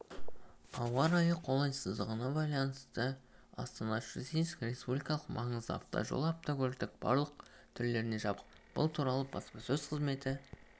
ауа райының қолайсыздығына байланысты астана-щучинск республикалық маңыздағы автожолы автокөліктің барлық түрлеріне жабық бұл туралы баспасөз қызметі